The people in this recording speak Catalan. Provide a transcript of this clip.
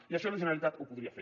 i això la generalitat ho podria fer